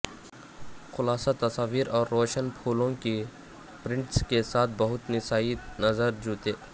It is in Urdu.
خلاصہ تصاویر اور روشن پھولوں کی پرنٹس کے ساتھ بہت نسائی نظر جوتے